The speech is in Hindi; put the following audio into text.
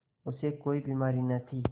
उसे कोई बीमारी न थी